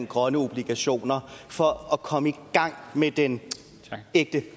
grønne obligationer for at komme i gang med den ægte